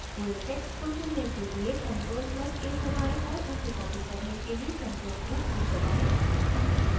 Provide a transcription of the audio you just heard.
press text को चुनने के लिए ctrl + a दबाएं और उसे copy करने के लिए ctrl + c दबाएं